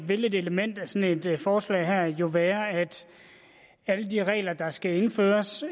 vil et element i sådan et forslag her jo være at alle de regler der skal indføres